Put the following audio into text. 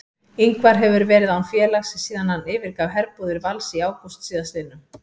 Ingvar hefur verið án félags síðan hann yfirgaf herbúðir Vals í ágúst síðastliðnum.